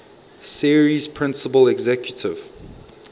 series principal executive